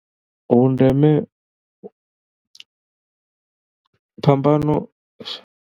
Vhu ndeme, phambano.